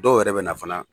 Dɔw yɛrɛ bɛ na fana